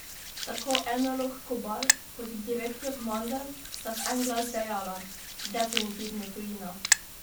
Tako enolog Kobal, kot direktor Mandl, sta v en glas dejala: "Definitivno tujina!